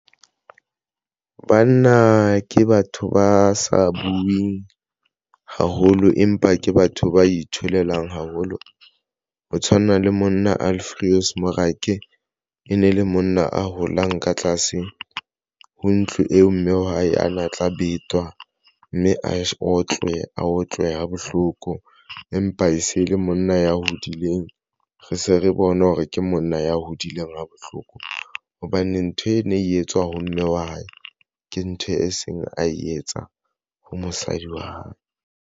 Banna ke batho ba sa bueng haholo empa ke batho ba itholelang haholo ho tshwana le monna Alfios Morake e ne le monna a holang ka tlase ho ntlo eo mme wa hae a na tla betwa mme a otlwe, a otlwe ha bohloko empa e se ele monna ya ho hodileng. Re se re bone hore ke monna ya hodileng ha bohloko hobane ntho eno ene etswa ho mme wa hae ke ntho a seng a etsa ha mosadi wa hae.